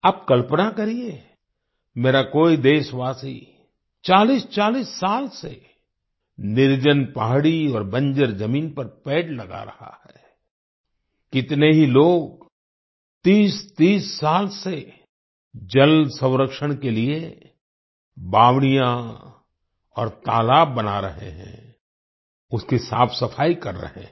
आप कल्पना करिए मेरा कोई देशवासी 4040 साल से निर्जन पहाड़ी और बंजर जमीन पर पेड़ लगा रहा है कितने ही लोग 3030 साल से जलसंरक्षण के लिए बावड़ियां और तालाब बना रहे हैं उसकी साफ़सफाई कर रहे हैं